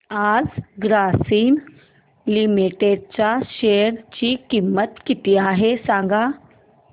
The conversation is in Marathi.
आज ग्रासीम लिमिटेड च्या शेअर ची किंमत किती आहे सांगा